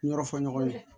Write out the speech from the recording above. Yɔrɔ fɔ ɲɔgɔn ye